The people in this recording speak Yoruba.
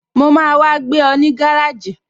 Mo máa wá gbé ọ ní gáràjì